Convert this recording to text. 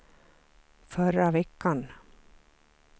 förra veckan